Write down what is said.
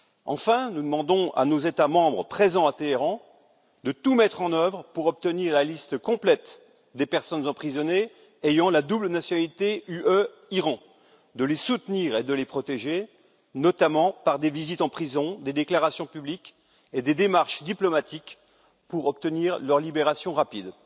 Enfin, nous demandons à nos États membres présents à Téhéran de tout mettre en œuvre pour obtenir la liste complète des personnes emprisonnées ayant une double nationalité Union européenne Iran, de les soutenir et de les protéger, notamment par des visites en prison, des déclarations publiques et des démarches diplomatiques pour obtenir leur libération rapide.